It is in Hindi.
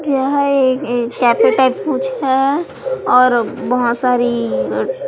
यह कैफे टाइप कुछ है और बहुत सारी--